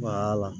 la